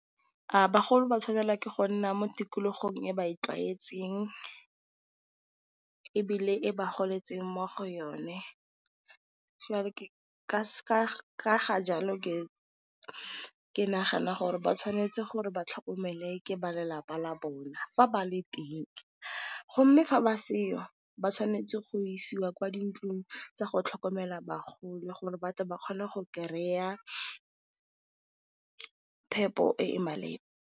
A bagolo ba tshwanelwa ke go nna mo tikologong e ba e tlwaetseng ebile e ba goletseng mo go yone? ka ga jalo ke ke nagana gore ba tshwanetse gore ba tlhokomele ke ba lelapa la bona fa ba le teng. Mme, fa ba seo ba tshwanetse go isewa kwa dintlong tsa go tlhokomela bagolo gore ba tle ba kgone go kry-a phepo e e maleba.